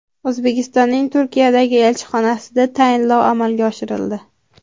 O‘zbekistonning Turkiyadagi elchixonasida tayinlov amalga oshirildi.